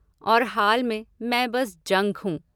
और हाल में, मैं बस जंक हूँ!